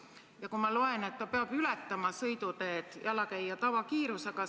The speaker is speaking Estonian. Ma siit loen, et ta peab ületama sõiduteed jalakäija tavakiirusega.